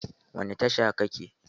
Wani tasha ka ke?